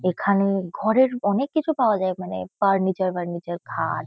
এখানে ঘরের অনেককিছু পাওয়া যায় মানে ফার্নিচার বার্নিচার খাট।